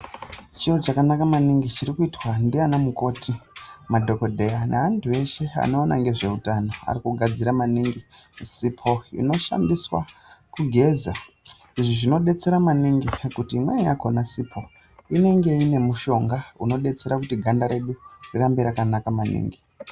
Chiro chakanaka maningi chirikuitwa ndiana mukoti, madhogodheya neantu eshe anoona ngezveutano. Arikugadzira maningi sipo inoshandiswa kugeza. Izvi zvinodetsera maningi ngekuti imweni yakona sipo inenge inemushonga unodetsera kuti ganda redu ringe rakanaka maningi.